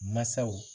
Masaw